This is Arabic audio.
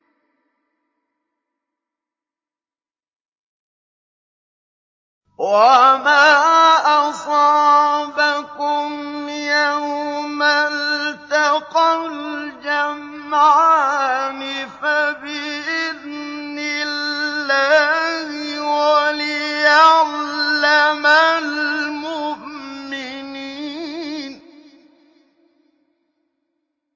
وَمَا أَصَابَكُمْ يَوْمَ الْتَقَى الْجَمْعَانِ فَبِإِذْنِ اللَّهِ وَلِيَعْلَمَ الْمُؤْمِنِينَ